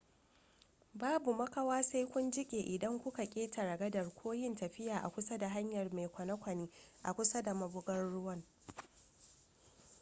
babu makawa sai kun jike idan kuka ketare gadar ko yin tafiya a kusa da hanyar mai kwane-kwane a kusa da mabugar ruwan